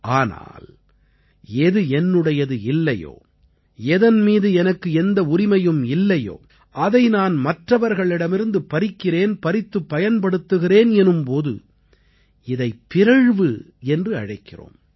ஆனால் எது என்னுடையது இல்லையோ எதன் மீது எனக்கு எந்த உரிமையும் இல்லையோ அதை நான் மற்றவர்களிடமிருந்து பறிக்கிறேன் பறித்துப் பயன்படுத்துகிறேன் எனும் போது இதைப் பிறழ்வு என்று அழைக்கிறோம்